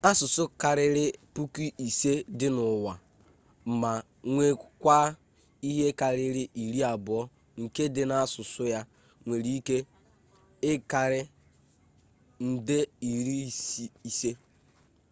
asụsụ karịrị puku ise dị n'ụwa ma nwekwaa ihe karịrị iri abụọ nke ndị na-asụ ya nwere ike ịkarị nde iri ise